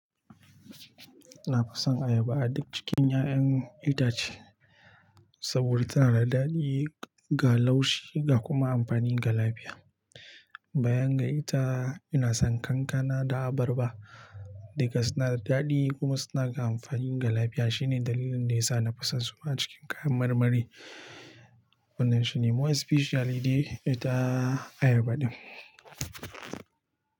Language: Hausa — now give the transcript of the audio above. Na fason ayaba a duk cikin 'ya'yan itace saboda tana da daɗi ga laushi da kuma amfani ga lafiya. Bayan ga ita, ina son kankana da abarba duka suna da daɗi kuma suna da amfani ga lafiya. Shine dalilin da yasa na fison su a cikin kayan marmari. Wannan shine more especially dai ita ayaba din.